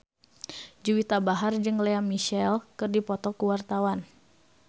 Juwita Bahar jeung Lea Michele keur dipoto ku wartawan